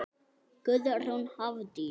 Guðrún Hafdís.